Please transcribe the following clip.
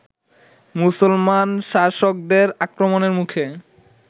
মুসলমান শাসকদের আক্রমণের মুখে